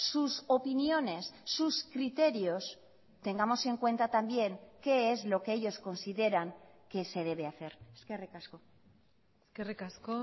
sus opiniones sus criterios tengamos en cuenta también qué es lo que ellos consideran que se debe hacer eskerrik asko eskerrik asko